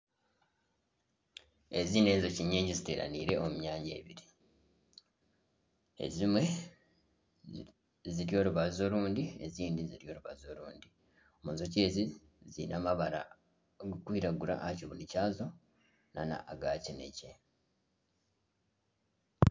Ezi n'enjoki nyingi ziteranaire omu myanya ebiri ezimwe ziri orubaju orundi n'ezindi ziri orubaju orundi enjoki ezi ziine amabara garikwiragura aha kibunu kyazo nana aga kinekye.